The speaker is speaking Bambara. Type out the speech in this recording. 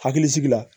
Hakilisigi la